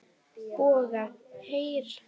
BOGGA: Heyr!